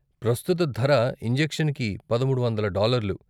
ప్రస్తుత ధర ఇంజెక్షన్కి పదమూడు వందల డాలర్లు.